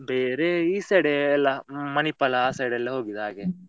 ಬೇರೆ ಈ side ಏ ಎಲ್ಲ, Manipal ಆ side ಎಲ್ಲ ಹೋಗುದ್ ಹಾಗೆ.